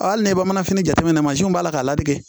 Hali n'i bɛ manafini jateminɛ mansinw b'a la k'a ladi